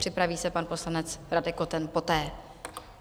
Připraví se pan poslanec Radek Koten poté.